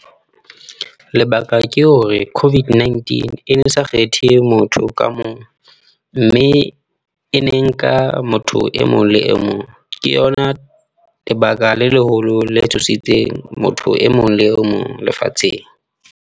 Lebaka ke hore COVID-19 e ne sa kgethe motho ka mong, mme e ne nka motho e mong le e mong. Ke yona lebaka le leholo le tshositseng motho e mong le o mong lefatsheng.